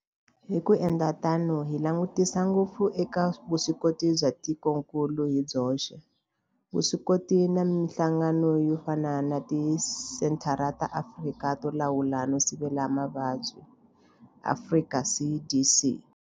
Hi ku endla tano hi langutisa ngopfu eka vuswikoti bya tikokulu hi byoxe, vuswikoti na mihlangano yo fana na Tisenthara ta Afrika to Lawula no Sivela Mavabyi, Afrika CDC.